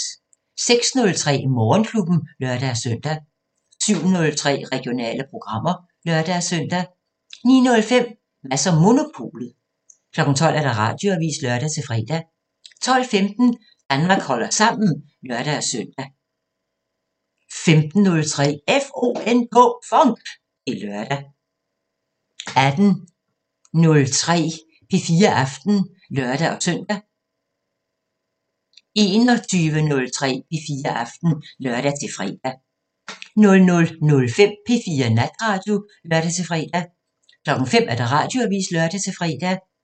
06:03: Morgenklubben (lør-søn) 07:03: Regionale programmer (lør-søn) 09:05: Mads & Monopolet 12:00: Radioavisen (lør-fre) 12:15: Danmark holder sammen (lør-søn) 15:03: FONK! Det er lørdag 18:03: P4 Aften (lør-søn) 21:03: P4 Aften (lør-fre) 00:05: P4 Natradio (lør-fre) 05:00: Radioavisen (lør-fre)